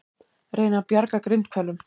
Reyna að bjarga grindhvölum